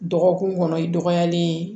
Dɔgɔkun kɔnɔ i dɔgɔyalen